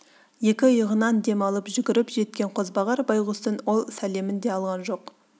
екі иығынан дем алып жүгіріп жеткен қозбағар байғұстың ол сәлемін де алған жоқ